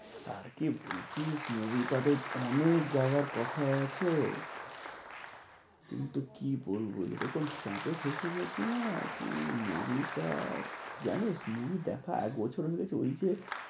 আর কি বলছিলিস movie টা তো অনেক যাওয়ার কথা আছে। কিন্তু কি বলবো? যেরকম চাপে ফেঁসে গেছি না কি বলি তা? জানিস movie দেখা এক বছর হয়ে গেছে ওই যে